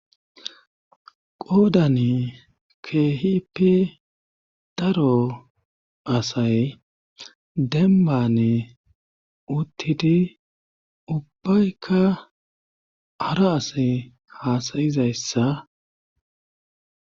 qoodane keehipi daro asay denbane uttidi ubbaykka ara asa haasayizayssa